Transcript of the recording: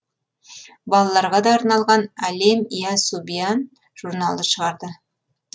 балаларға да арналған алем ия субьян журналы шығарды